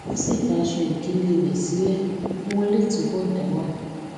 ó sì fa aṣọ ìkélé rè sílè kí wón lè túbò dá wà